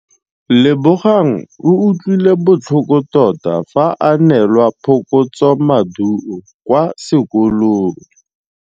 Lebogang o utlwile botlhoko tota fa a neelwa phokotsômaduô kwa sekolong.